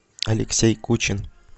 алексей кучин